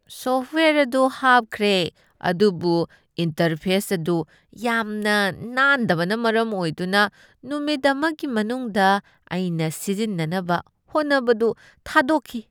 Software ꯑꯗꯨ ꯍꯥꯞꯈ꯭ꯔꯦ ꯑꯗꯨꯕꯨ ꯏꯟꯇꯔꯐꯦꯁ ꯑꯗꯨ ꯌꯥꯝꯅ ꯅꯥꯟꯗꯕꯅ ꯃꯔꯝ ꯑꯣꯏꯗꯨꯅ ꯅꯨꯃꯤꯠ ꯑꯃꯒꯤ ꯃꯅꯨꯡꯗ ꯑꯩꯅ ꯁꯤꯖꯤꯟꯅꯅꯕ ꯍꯣꯠꯅꯕꯗꯨ ꯊꯥꯗꯣꯛꯈꯤ꯫